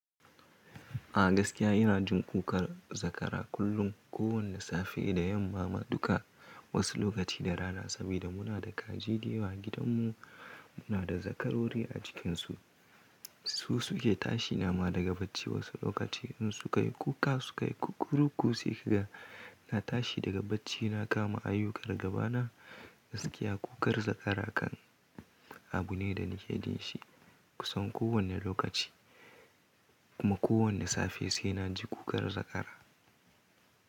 A gaskiya ina jin kukan zakara kullum, kowane safe da yamma ma duka wasu lokaci da rana saboda muna da kaji da yawa a gidanmu. Muna da zakarori a cikinsu, su suke tashi nama daga bacci wasu lokaci in su kai kuka su kai kukkuruku sai kiga na tashi daga bacci na kama ayyukan gabana. Gaskiya kukar zakara kan abu ne da nake jin shi kusan kowane lokaci kuma kowane safe sai na ji ƙukar zakara.